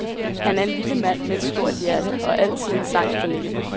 Han er en lille mand med et stort hjerte og altid en sang på læben.